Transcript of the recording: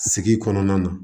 Sigi kɔnɔna na